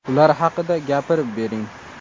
Ular haqida gapirib bering.